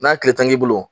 N'a tile tan k'i bolo